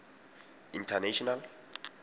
international